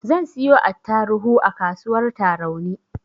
Zan siyo attaruhu a kasuwar tarauni